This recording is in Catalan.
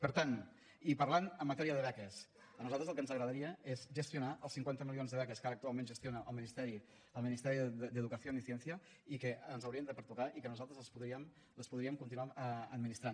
per tant i parlant de matèria de beques a nosaltres el que ens agradaria és gestionar els cinquanta milions de beques que ara actualment gestiona el ministeri d’educación y ciencia i que ens haurien de pertocar i que nosaltres les podríem continuar administrant